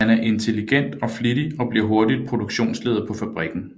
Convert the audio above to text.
Han er intelligent og flittig og bliver hurtigt produktionsleder på fabrikken